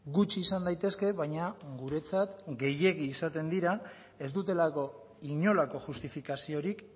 gutxi izan daitezke baina guretzat gehiegi izaten dira ez dutelako inolako justifikaziorik